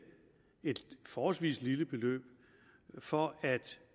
et forholdsvis lille beløb for at